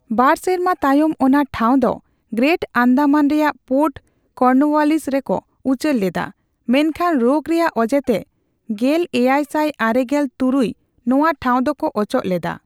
ᱵᱟᱨ ᱥᱮᱨᱢᱟ ᱛᱟᱭᱚᱢ, ᱚᱱᱟ ᱴᱷᱟᱣ ᱫᱚ ᱜᱨᱮᱴ ᱟᱱᱫᱟᱢᱟᱱ ᱨᱮᱭᱟᱜ ᱯᱳᱨᱴ ᱠᱚᱨᱱᱳᱣᱟᱞᱤᱥ ᱨᱮᱠᱚ ᱩᱪᱟᱹᱲ ᱞᱮᱫᱟ, ᱢᱮᱱᱠᱷᱟᱱ ᱨᱳᱜᱽ ᱨᱮᱭᱟᱜ ᱚᱡᱮᱛᱮ ᱜᱮᱞᱮᱭᱟᱭ ᱥᱟᱭ ᱟᱨᱮᱜᱮᱞ ᱛᱩᱨᱩᱭ ᱱᱚᱣᱟ ᱴᱷᱟᱣ ᱫᱚᱠᱚ ᱚᱪᱚᱜ ᱞᱮᱫᱟ ᱾